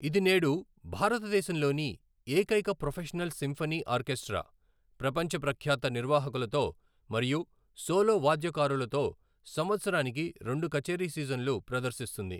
ఇది నేడు భారతదేశంలోని ఏకైక ప్రొఫెషనల్ సింఫనీ ఆర్కెస్ట్రా ప్రపంచ ప్రఖ్యాత నిర్వహాకులతో మరియు సోలో వాద్యకారులతో సంవత్సరానికి రెండు కచేరీ సీజన్లు ప్రదర్శిస్తుంది.